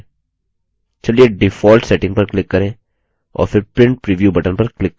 चलिए default settings पर click करें और फिर print preview button पर click करें